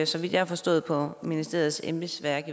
så vidt jeg har forstået på ministeriets embedsværk